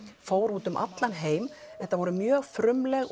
fór út um allan heim þetta voru mjög frumleg